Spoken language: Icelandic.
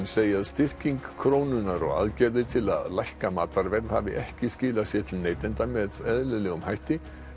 segja að styrking krónunnar og aðgerðir til að lækka matarverð hafi ekki skilað sér til neytanda með eðlilegum hætti